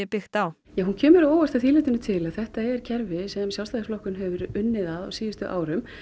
byggt á hún kemur að óvart að því leytinu til að þetta er kerfi sem Sjálfstæðisflokkurinn hefur unnið að á síðustu árum